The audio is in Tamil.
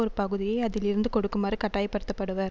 ஒரு பகுதியை அதில் இருந்து கொடுக்குமாறு கட்டாயப்படுத்தப்படுவர்